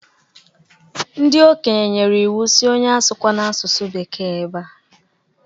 Ndi okenye nyere iwu sị onye asụkwana asụsụ bekee ebea!